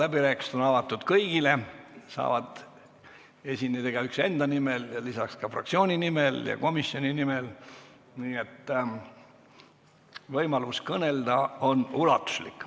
Läbirääkimised on avatud kõigile, igaüks saab esineda enda nimel ning lisaks fraktsiooni nimel ja komisjoni nimel, nii et võimalus kõnelda on ulatuslik.